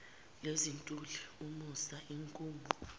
lezintuli umusi inkungu